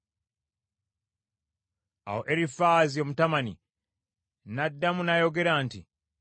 Awo Erifaazi Omutemani n’addamu n’ayogera nti,